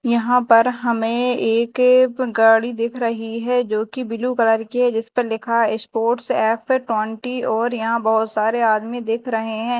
यहाँ पर हमें एक गाड़ी दिख रही है जोकी ब्लू कलर की है जीस पर लिखा है स्पोर्ट्स एफ ट्वेंटी और यहाँ बहोत सारे आदमी दिख रहे है।